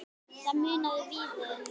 Það munaði víða litlu.